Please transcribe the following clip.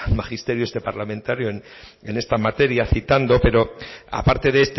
magisterio este parlamentario en esta materia citando pero aparte de